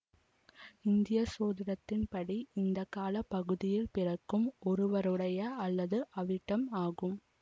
இந்திய சோதிடத்தின்படி இந்த கால பகுதியில் பிறக்கும் ஒருவருடைய அல்லது அவிட்டம் ஆகும்